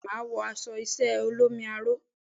Bẹ́ẹ̀ni, màá wọ aṣọ iṣẹ́ ẹ olómi aró.